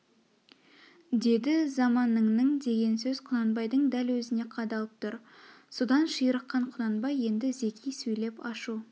деді заманыңның деген сөз құнанбайдың дәл өзіне қадалып тұр содан ширыққан құнанбай енді зеки сөйлеп ашу